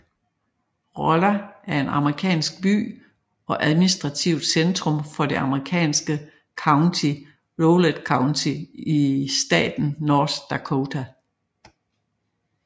Rolla er en amerikansk by og administrativt centrum for det amerikanske county Rolette County i staten North Dakota